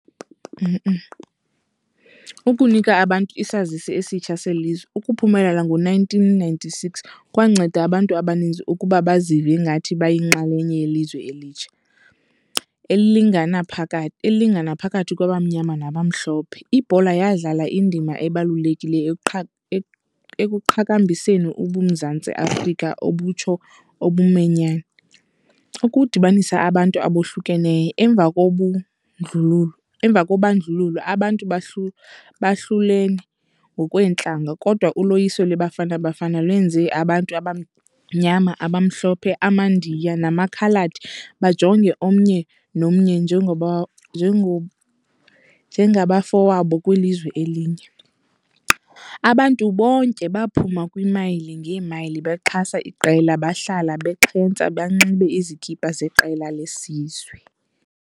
Ukunika abantu isazisi esitsha selizwe. Ukuphumelela ngo-nineteen ninety-six kwanceda abantu abaninzi ukuba bazive ngathi bayinxalenye yelizwe elitsha elilingana elilingana phakathi kwabamnyama nabamhlophe. Ibhola yadlala indima ebalulekileyo ekuqhakambiseni uMzantsi Afrika obutsho . Ukudibanisa abantu abohlukeneyo emva emva kobandlululo, abantu abantu bahlulene ngokweentlanga kodwa uloyiso leBafana Bafana lwenze abantu abanyama, abamhlophe, amaNdiya namakhaladi bajonge omnye nomnye njengabafowabo kwilizwe elinye. Abantu bonke baphuma kwimayili ngeemayili bexhasa iqela, bahlala bexhentsa benxibe izikipa zeqela lesizwe.